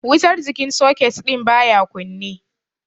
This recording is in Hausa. Wutar jikin soket din baya kunne.